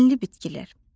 Dənli bitkilər.